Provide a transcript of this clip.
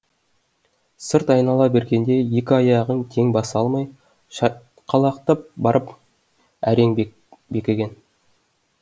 сырт айнала бергенде екі аяғын тең баса алмай шайқалақтап барып әрең бекіген